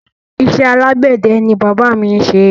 Isé alágbède ni bàbá mi n ṣe